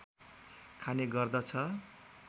खाने गर्दछ